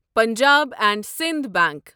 Punjab and Sindh bunk